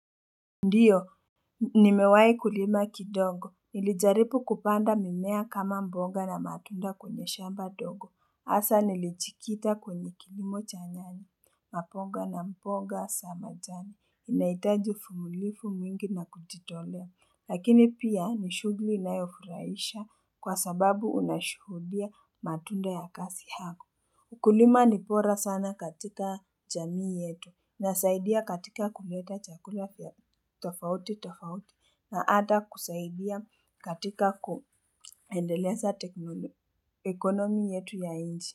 Ndiyo nimewahi kulima kidogo nilijaribu kupanda mimea kama mboga na matunda kwenye shamba ndogo hasa nilijikita kwenye kilimo cha nyanya na ponga na mboga za majani inahitaji uvumilivu mwingi na kujitolea lakini pia ni shughuli inayofurahisha kwa sababu unashuhudia matunda ya kazi yako ukulima ni bora sana katika jamii yetu nasaidia katika kuleta chakula vya tofauti tafauti na hata kusaidia katika kuendeleza teknolo economy yetu ya nchi.